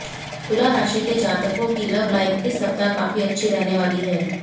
तुला राशि के जातकों की लव लाइफ इस सप्ताह काफी अच्छी रहने वाली है